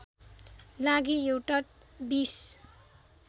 लागि एउटा २०